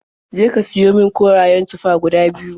Je ka siyo min korayen tufa guda biyu.